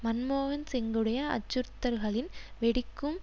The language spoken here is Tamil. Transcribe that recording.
மன்மோகன் சிங்குடைய அச்சுறுத்தல்களின் வெடிக்கும்